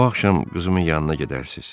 Bu axşam qızımın yanına gedərsiz.